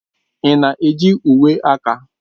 Ị na-eji uwe aka?